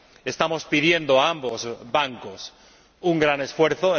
Estamos pidiendo a ambos bancos un gran esfuerzo.